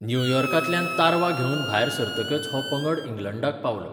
न्युयॉर्कांतल्यान तारवां घेवन भायर सरतकच हो पंगड इंग्लंडाक पावलो.